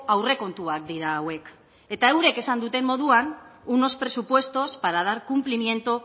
aurrekontuak dira hauek eta eurek esan duten moduan unos presupuestos para dar cumplimiento